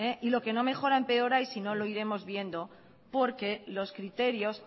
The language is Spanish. y lo que no mejora empeora y sino lo iremos viendo porque los criterios